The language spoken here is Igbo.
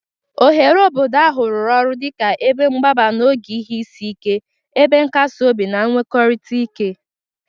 Oghere obodo ahụ rụrụ ọrụ dị ka ebe mgbaba n'oge ihe isi ike, ebe nkasi obi na nnwekọrịta ike.